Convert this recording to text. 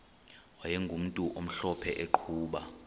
wayegumntu omhlophe eqhuba